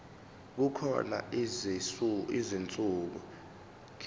kukhona izinsuku ezibekiwe